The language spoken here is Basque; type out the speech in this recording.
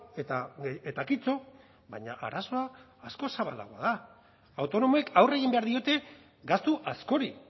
eta eta kitto baina arazoa askoz zabalagoa da autonomoek aurre egin behar diote gastu askori